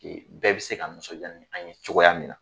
Bɛɛ bɛ se ka nisɔndiya ni an ye cogoya min na